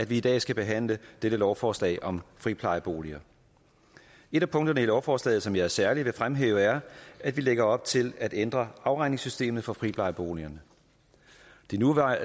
vi i dag skal behandle dette lovforslag om friplejeboliger et af punkterne i lovforslaget som jeg særlig vil fremhæve er at vi lægger op til at ændre afregningssystemet for friplejeboligerne det nuværende